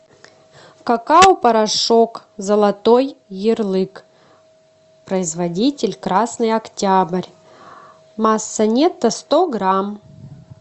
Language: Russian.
какао порошок золотой ярлык производитель красный октябрь масса нетто сто грамм